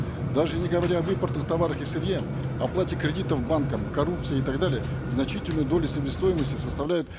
даже не говоря об импортных товарах и сырье оплате кредитов банкам коррупции и так далее значительную долю себестоимости составляют